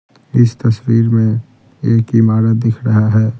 इस तस्वीर में एक इमारत दिख रहा है।